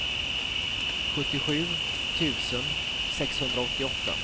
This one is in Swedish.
sjuttiosju tusen sexhundraåttioåtta